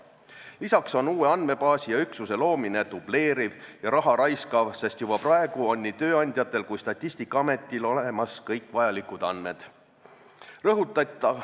Lisaks on uue andmebaasi ja üksuse loomine dubleeriv ja raha raiskav tegevus, sest juba praegu on nii tööandjatel kui Statistikaametil olemas kõik vajalikud andmed.